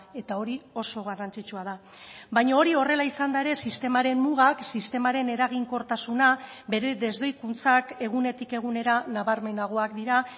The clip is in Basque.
eta hori oso garrantzitsua da baina hori horrela izanda ere sistemaren mugak sistemaren eraginkortasuna bere desdoikuntzak egunetik egunera nabarmenagoak dira